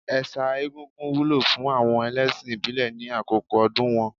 Ẹ̀sà egúngún wúlò fún àwọn ẹlẹ́ṣìn ìbílẹ̀ ní àkókò ọdún wọn.